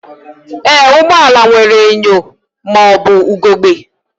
Ee, ụgbọ ala nwere enyo ma ọ bụ ugegbe